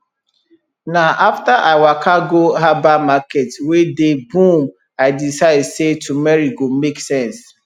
na after i waka go herbal market wey dey boom i decide say turmeric go make sense